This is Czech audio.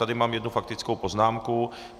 Tady mám jednu faktickou poznámku.